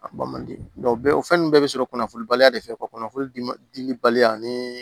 A bɔ man di bɛɛ o fɛn ninnu bɛɛ bɛ sɔrɔ kunnafonibaliya de fɛ ka kunnafoli diliba ni